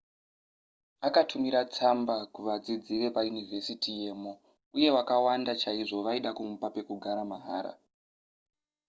akatumira tsamba kuvadzidzi vepayunivhesiti yemo uye vakawanda chaizvo vaida kumupa pekugara mahara